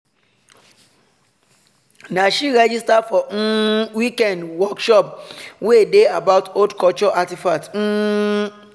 na she register for um weekend workshop wey dey about old culture artifacts. um